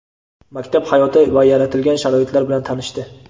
maktab hayoti va yaratilgan sharoitlar bilan tanishdi.